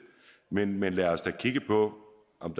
men men lad os da kigge på om